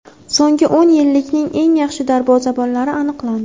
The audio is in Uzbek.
So‘nggi o‘n yillikning eng yaxshi darvozabonlari aniqlandi.